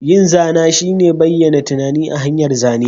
Yin zana shine bayyana tunani ta hanyar zane.